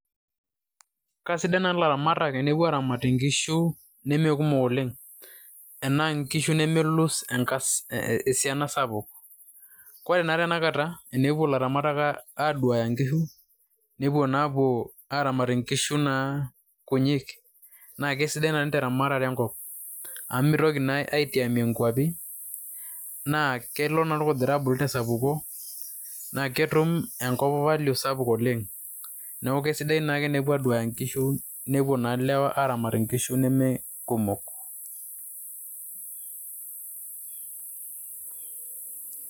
Kasidan na ilaramatak tenepuo aramat inkishu, nemekumok oleng'. Enaa nkishu nemelus esiana sapuk. Ore naa tanakata enepuo ilaramatak aduaya nkishu, nepuo naa apuo aramat nkishu naa kunyik, na kesidae nai teramatare enkop. Amu mitoki naa atiamie nkwapi, naa kelo naa orkujita abulu tesapuko. Na ketum enkop value sapuk oleng'. Neeku kesidai naake enepuo aduaya nkishu, nepuo na lewa aramat inkishu nemekumok.